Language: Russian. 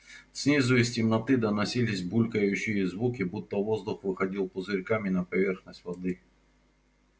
снизу из темноты доносились булькающие звуки будто воздух выходил пузырьками на поверхность воды